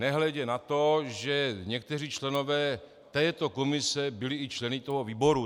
Nehledě na to, že někteří členové této komise byli i členy toho výboru.